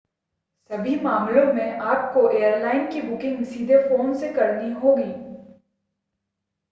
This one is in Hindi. सभी मामलों में आपको एयरलाइन की बुकिंग सीधे फ़ोन से करनी होगी